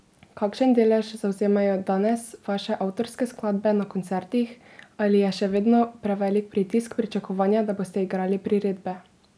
Kakšen delež zavzemajo danes vaše avtorske skladbe na koncertih ali je še vedno prevelik pritisk pričakovanja, da boste igrali priredbe?